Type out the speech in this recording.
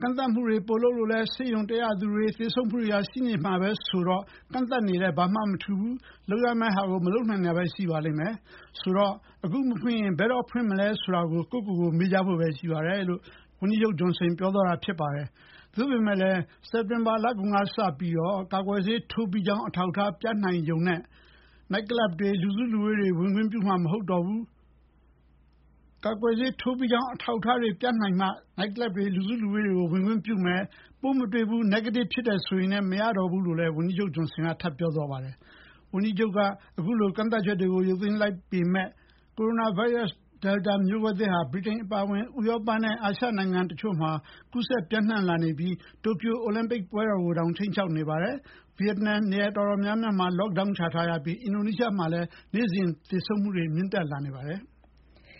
ကန့်သတ်မှုတွေ ပိုလုပ်လဲ ဆေးရုံတက်ရသူတွေ၊ သေဆုံးမှုတွေ ရှိနေမှာပဲဆိုတော့ ကန့်သတ်နေလည်း ဘာမှမထူးပါဘူး။ လုပ်ရမယ့်ဟာကို မလုပ်နိုင်တာပဲရှိပါလိမ့်မယ်။ ဆိုတော့ အခုမဖွင့်ရင် ဘယ်တော့ ဖွင့်နိုင်မလဲ ဆိုတာ ကိုယ့်ဟာကိုယ်မေးကြဖို့ပဲ ရှိပါတယ်” လို့ပြောသွားတာပါ။ ဒါပေမဲ့ စက်တင်ဘာလကုန်ကစပြီး ကာကွယ်ဆေးထိုးပြီးကြောင်း အထောက်အထားပြနေမှ နိုက်ကလပ်တွေ၊ လူစုလူဝေးတွေကို ဝင်ခွင့်ပြုမယ်၊ ပိုးမတွေ့ဘူး၊ negative ဖြစ်တယ်ဆိုရုံနဲ့ မရတော့ဘူးလို့လည်း ဝန်ကြီးချုပ် Johnson ကပြောသွားပါတယ်။ ဗြိတိန်ဝန်ကြီးချုပ်က အခုလို ကန့်သတ်ချက်တွေ ရုပ်သိမ်းလိုက်ပေမယ့် ကိုရိုနာဗိုင်းရပ်စ် Delta မျိုးကွဲသစ်ဟာ ဗြိတိန်အပါအဝင် ဥရောပနဲ့ အာရှဒေသတချို့မှာ ကူးစက်ပျံ့နှံလာနေပြီး တိုကျို အိုလံပစ် ပွဲတော်ကိုတောင် ခြိမ်းခြောက်နေပါတယ်။ ဗီယက်နမ် နေရာတော်တော်များ lock down ချထားရပြီး အင်ဒိုနီးရှားမှာလည်း နေ့စဉ်သေဆုံးမှုနှုန်းမြင့်တက်နေပါတယ်။